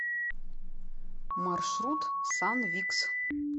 маршрут санвикс